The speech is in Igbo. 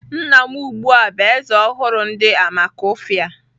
Nna m ugbu a bụ Eze ọhụrụ nke Amakufia.